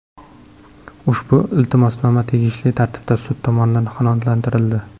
Ushbu iltimosnoma tegishli tartibda sud tomonidan qanoatlantirildi.